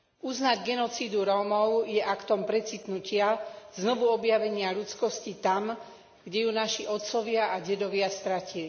Uznať genocídu Rómov je aktom precitnutia, znovu objavenia ľudskosti tam, kde ju naši otcovia a dedovia stratili.